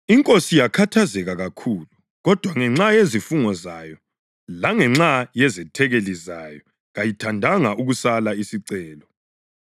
Inkosi yakhathazeka kakhulu, kodwa ngenxa yezifungo zayo langenxa yezethekeli zayo kayithandanga ukusala isicelo.